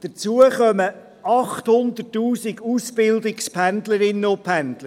Hinzu kommen 800 000 Ausbildungspendlerinnen und -pendler.